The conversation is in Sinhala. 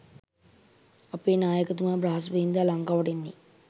අපේ නායකතුමා බ්‍රහස්‌පතින්දා ලංකාවට එන්නේ